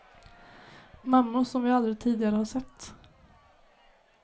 Mammor som vi aldrig tidigare har sett.